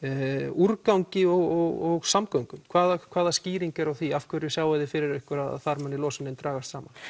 úrgangi og samgöngum hvaða hvaða skýring er á því af hverju sjáið þið fyrir ykkur að þar muni losunin dragast saman